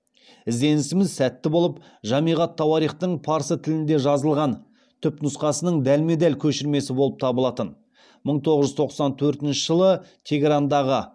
ізденісіміз сәтті болып жамиғ ат тауарихтың парсы тілінде жазылған түпнұсқасының дәлме дәл көшірмесі боп табылатын мың тоғыз жүз тоқсан төртінші жылы тегерандағы